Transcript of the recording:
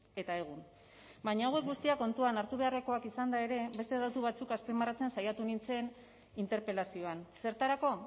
eta egun baina hauek guztiak kontuan hartu beharrekoak izanda ere beste datu batzuk azpimarratzen saiatu nintzen interpelazioan zertarako